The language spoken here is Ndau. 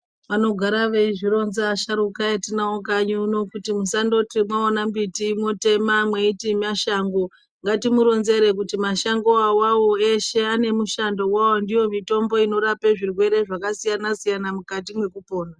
Vanogara veizvironza vasharukwa vatinawo kunoku kanyi kuti musanoti maona mbiti motema mweiti mashango ngatimuronzere kuti mashango iwawo eshe ane mishando wawo ndiyo mitombo inorapa zvirwere zvakasiyana-siyana mukati mekupona.